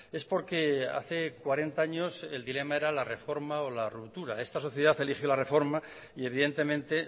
es porque hace cuarenta años el dilema era la reforma o la ruptura esta sociedad eligió la reforma y evidentemente